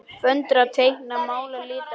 Föndra- teikna- mála- lita- listir